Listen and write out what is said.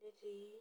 netii.